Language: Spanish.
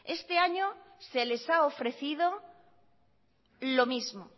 este año se les ha ofrecido lo mismo